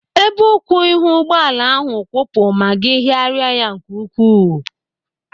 Ebe ụkwụ ihu ụgbọala ahụ kwụpụ ma gị hiaria ya nke ukwuu.